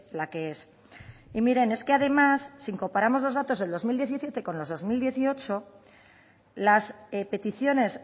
la que es y miren es que además si comparamos los datos del dos mil diecisiete con los del dos mil dieciocho las peticiones